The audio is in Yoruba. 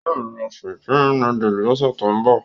Yóò ra Supreme núdúsì lọ́sẹ̀ tó ń bọ̀